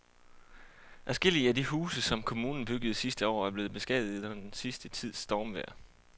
Adskillige af de huse, som kommunen byggede sidste år, er blevet beskadiget under den sidste tids stormvejr.